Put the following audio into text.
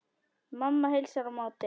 Mamma heilsar á móti.